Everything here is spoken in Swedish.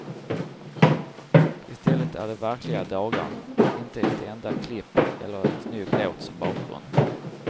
Istället är det verkliga dagar, inte ett enda klipp eller en snygg låt som bakgrund.